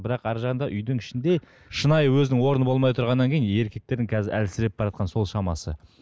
бірақ арғы жағында үйдің ішінде шынайы өзінің орны болмай тұрғаннан кейін еркектердің қазір әлсіреп баратқаны сол шамасы